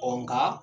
Ɔ nka